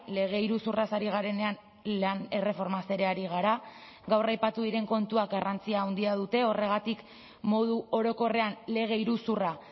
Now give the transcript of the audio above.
lege iruzurraz ari garenean lan erreformaz ere ari gara gaur aipatu diren kontuak garrantzia handia dute horregatik modu orokorrean lege iruzurra